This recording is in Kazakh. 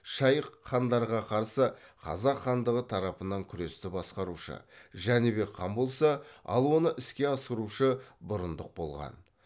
шайх хайдарға қарсы қазақ хандығы тарапынан күресті басқарушы жәнібек хан болса ал оны іске асырушы бұрындық болған